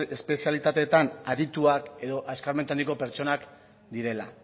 edo espezialitateetan adituak edo eskarmentu handiko pertsonak direla